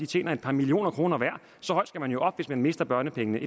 tjener et par millioner kroner hver så højt skal man jo op før man mister børnepengene